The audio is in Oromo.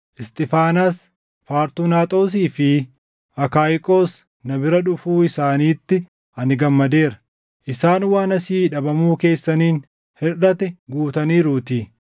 Isxiifaanaas, Fartunaaxoosii fi Akaayiqos na bira dhufuu isaaniitti ani gammadeera; isaan waan asii dhabamuu keessaniin hirʼate guutaniiruutii.